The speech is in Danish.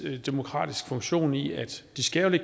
demokratisk funktion i at